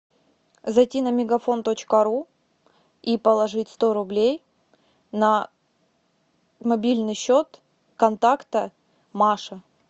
зайти на мегафон точка ру и положить сто рублей на мобильный счет контакта маша